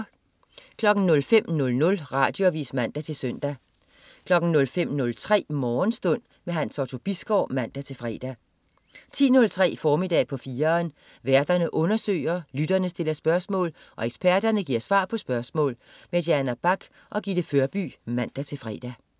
05.00 Radioavis (man-søn) 05.03 Morgenstund. Hans Otto Bisgaard (man-fre) 10.03 Formiddag på 4'eren. Værterne undersøger, lytterne stiller spørgsmål, og eksperterne giver svar på spørgsmål. Diana Bach og Gitte Førby (man-fre)